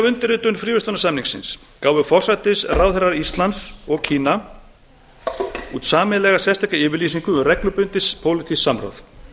undirritun fríverslunarsamningsins gáfu forsætisráðherrar íslands og kína út sameiginlega sérstaka yfirlýsingu um reglubundið pólitískt samráð